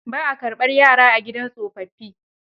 Ba a karɓar yara a gidan tsofaffi.